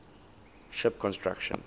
ship construction